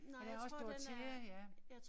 Ja der er også Dorothea ja